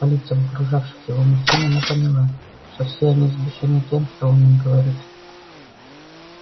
по лицам окружавших его мужчин она поняла что все они взбешены тем что он им говорит